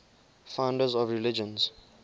founders of religions